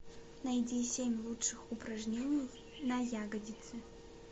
найди семь лучших упражнений на ягодицы